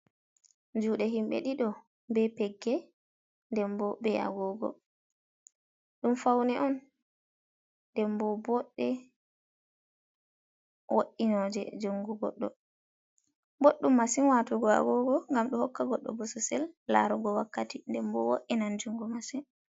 Juude himɓe ɗiɗo be pegge nden bo be agogo ɗum faune on. ndenbo bodde wo’inoje jungo goɗɗo in, boddum masin watugo agogo ngam ɗo hokka goɗɗo bososel larugo wakkati, ndenbo of wodinan jungo masin.